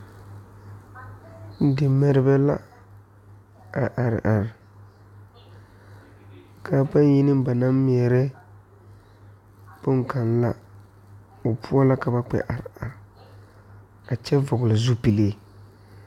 Di ŋmɛrebɛ la a are are kaa ba yi ne ba naŋ ŋmɛre bon kaŋ na ,be poɔ la ka ba kpɛ are are a kyɛ vɔgle zupele.